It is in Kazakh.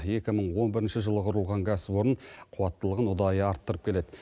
екі мың он бірінші жылы құрылған кәсіпорын қуаттылығын ұдайы арттырып келеді